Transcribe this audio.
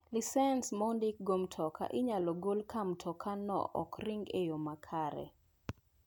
lisens ma ondik go mtoka inyal gol ka mtokano ok ringi e yo makare.